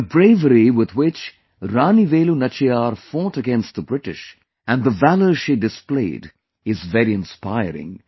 The bravery with which Rani Velu Nachiyar fought against the British and the valour she displayed is very inspiring